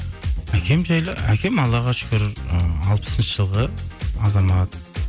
әкем жайлы әкем аллаға шүкір ыыы алпысыншы жылғы азамат